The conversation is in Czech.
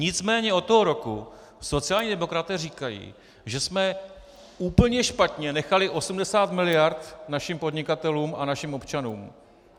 Nicméně od toho roku sociální demokraté říkají, že jsme úplně špatně nechali 80 mld. našim podnikatelům a našim občanům.